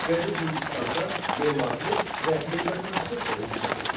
Qədim Hindistanda memarlıq və heykəltaraşlıq da inkişaf etmişdi.